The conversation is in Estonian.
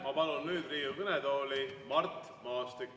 Ma palun nüüd Riigikogu kõnetooli Mart Maastiku.